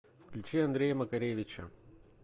включи андрея макаревича